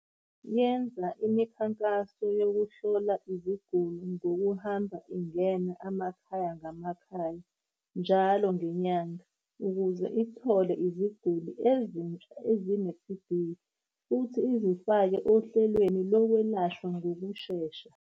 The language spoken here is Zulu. Yenza imikhankaso yokuhlola iziguli ngokuhamba ingena amakhaya ngamakhaya njalo ngenyanga ukuze ithole iziguli ezintsha ezine-TB futhi izifake ohlelweni lokwelashwa ngokushesha.